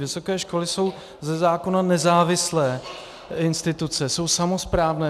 Vysoké školy jsou ze zákona nezávislé instituce, jsou samosprávné.